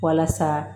Walasa